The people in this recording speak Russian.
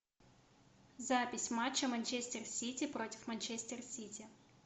запись матча манчестер сити против манчестер сити